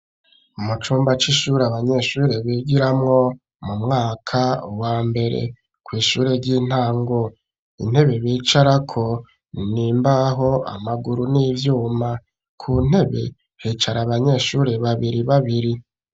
Mu cumba c'ishuri abanyeshure bigiramwo mu mwaka wambere kw'ishure ry'intango intebe bicarako n'imbaho amaguru n'ivyuma ku ntebe hicara abanyeshuri babiri babiri